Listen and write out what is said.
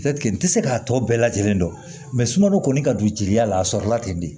n tɛ se k'a tɔ bɛɛ lajɛlen dɔn sunɔgɔ kɔni ka don jeli la a sɔrɔla ten de